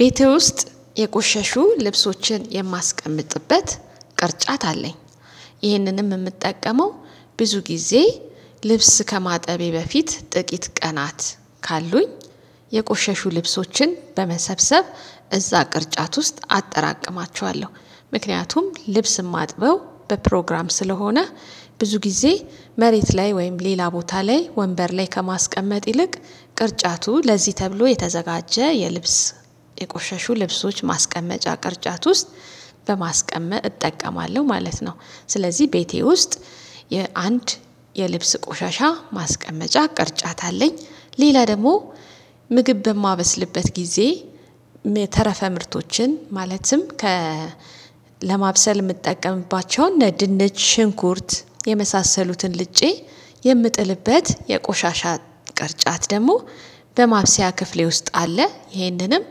ቤቴ ውስጥ የቆሸሹ ልብሶችን የማስቀምጥበት ቅርጫት አለኝ። ይህንንም እምጠቀመው ብዙ ጊዜ ልብስ ከማጠቤ በፊት ጥቂት ቀናት ካሉኝ የቆሸሹ ልብሶችን በመሰብሰብ እዛ ቅርጫት ውስጥ አጠራቅማቸዋለሁ። ምክንያቱም ልብስ እማጥበው በፕሮግራም ስለሆነ ብዙ ጊዜ መሬት ላይ ወይም ሌላ ቦታ ላይ ወንበር ላይ ከማስቀመጥ ይልቅ ቅርጫቱ ለዚህ ተብሎ የተዘጋጀ የልብስ የቆሸሹ ልብሶች ማስቀመጫ ቅርጫት ውስጥ በማስቀመጥ እጠቀማለሁ ማለት ነው። ስለዚህ ቤቴ ውስጥ የአንድ የልብስ ቆሻሻ ማስቀመጫ ቅርጫት አለኝ። ሌላ ደግሞ ምግብ በማበስልበት ጊዜ ተረፈ ምርቶችን ማለትም ከ ለማብሰል የምጠቀምባቸውን ድንች ሽንኩርት የመሳሰሉትን ልጬ የምጥልበት የቆሻሻ ቅርጫት ደግሞ በማብሰያ ክፍሌ ውስጥ አለ። ይህንንም